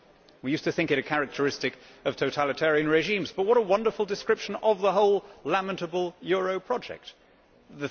We used to think it a characteristic of totalitarian regimes, but what a wonderful description it is of the whole lamentable euro project also.